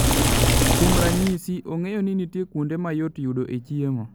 Kuom ranyisi, ong'eyo ni nitie kuonde ma yot yudoe chiemo.